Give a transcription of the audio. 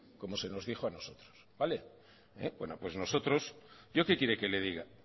como se nos dijo a nosotros yo qué quiere que le diga